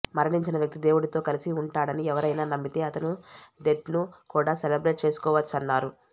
మరణించిన వ్యక్తి దేవుడితో కలిసి ఉంటాడని ఎవరైనా నమ్మితే అతను డెత్ను కూడా సెలబ్రేట్ చేసుకోవచ్చన్నారు